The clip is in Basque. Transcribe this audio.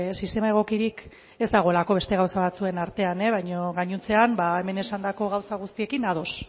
sistema egokirik ez dagoelako beste gauza batzuen artean e baino gainontzean hemen esandako gauza guztiekin ados